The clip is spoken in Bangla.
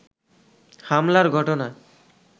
হামলার ঘটনা